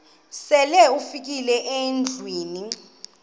sele ufikile endlwini